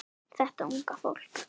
Þetta unga fólk.